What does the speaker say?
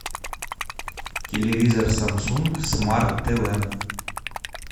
телевизор самсунг смарт тв